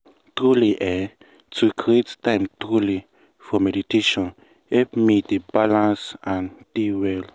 truely eeh to create time truely for meditation help me dey balance and dey well.